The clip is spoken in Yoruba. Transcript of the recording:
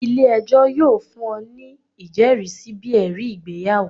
ile-ẹjọ yoo fun ọ ni ijẹrisi bi ẹri igbeyawo.